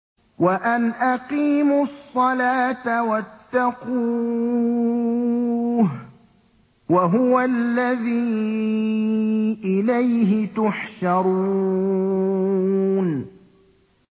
وَأَنْ أَقِيمُوا الصَّلَاةَ وَاتَّقُوهُ ۚ وَهُوَ الَّذِي إِلَيْهِ تُحْشَرُونَ